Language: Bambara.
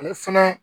Ale fɛnɛ